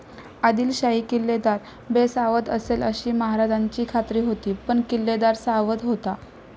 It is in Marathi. आदिलशाही किल्लेदार बेसावध असेल अशी महाराजांची खात्री होती पण किल्लेदार सावध होता.